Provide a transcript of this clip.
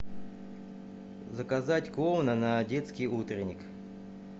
заказать клоуна на детский утренник